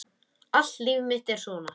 Allt líf mitt er svona!